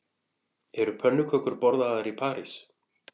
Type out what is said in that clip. Eru pönnukökur borðaðar í París